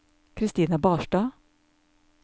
Kristina Barstad